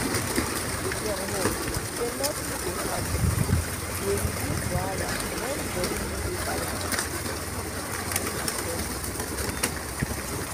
to give dem hope sey nothing go happen dey reduce wahala when body no dey balance true na em i tell you so.